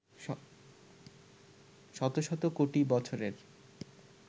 শত শত কোটি বছরের